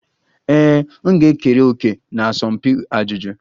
Ee, m ga-ekere òkè na asọmpi ajụjụ.